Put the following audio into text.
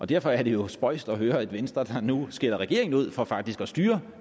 derfor er det jo spøjst at høre at venstre nu skælder regeringen ud for faktisk at styre